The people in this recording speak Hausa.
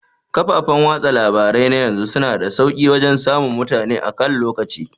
Kafafan watsa labarai na yanzu suna da sauke wajan samun mutane akan lokaci